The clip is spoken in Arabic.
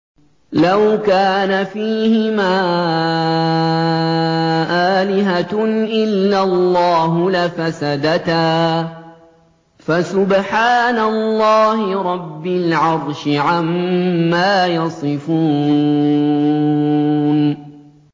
لَوْ كَانَ فِيهِمَا آلِهَةٌ إِلَّا اللَّهُ لَفَسَدَتَا ۚ فَسُبْحَانَ اللَّهِ رَبِّ الْعَرْشِ عَمَّا يَصِفُونَ